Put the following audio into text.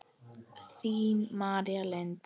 Þín, María Lind.